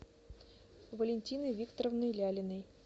валентиной викторовной лялиной